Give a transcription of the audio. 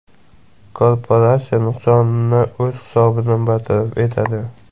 Korporatsiya nuqsonni o‘z hisobidan bartaraf etadi.